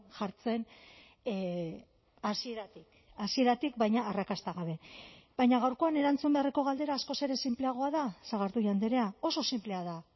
jartzen hasieratik hasieratik baina arrakasta gabe baina gaurkoan erantzun beharreko galdera askoz ere sinpleagoa da sagardui andrea oso sinplea da